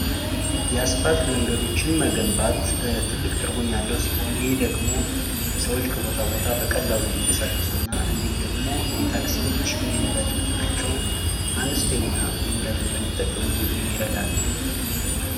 የአስፓልት መንገዶችን መገንባት ትልቅ ትርጉም ያለው ስሆን፤ ይህ ደግሞ ሰዎች ከቦታ ቦታ በቀላሉ እንድቀሳቀሱና እንድሁም ደግሞ የታክስዎችህ የነዳጅ መጠናቸው አንስተኛ የነዳጅ መጠን እንድጠቀሙ የሚረዳን ነው።